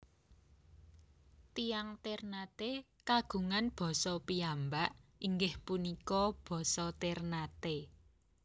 Tiyang Ternate kagungan basa piyambak inggih punika basa Ternate